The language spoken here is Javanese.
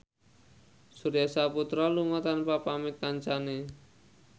Surya Saputra lunga tanpa pamit kancane